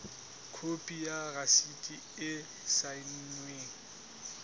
khopi ya rasiti e saennweng